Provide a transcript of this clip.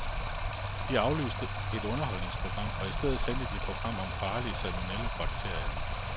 De aflyste et underholdningsprogram, og i stedet sendte de et program om den farlige salmonellabakterie.